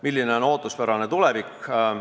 Milline on ootuspärane tulevik?